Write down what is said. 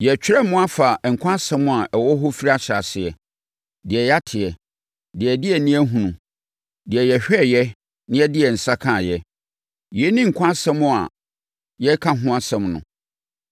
Yɛretwerɛ mo afa Nkwa Asɛm a ɛwɔ hɔ firi ahyɛaseɛ: Deɛ yɛateɛ, deɛ yɛde yɛn ani ahunu, deɛ yɛhwɛeɛ na yɛde yɛn nsa kaeɛ. Yei ne Nkwa Asɛm a yɛreka ho asɛm no.